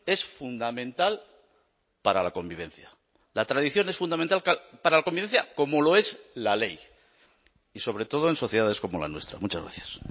es fundamental para la convivencia la tradición es fundamental para la convivencia como lo es la ley y sobre todo en sociedades como la nuestra muchas gracias